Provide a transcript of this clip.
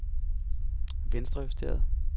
venstrejusteret